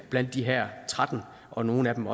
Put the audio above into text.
blandt de her tretten og nogle af dem